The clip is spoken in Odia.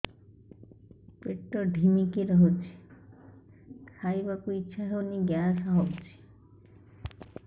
ପେଟ ଢିମିକି ରହୁଛି ଖାଇବାକୁ ଇଛା ହଉନି ଗ୍ୟାସ ହଉଚି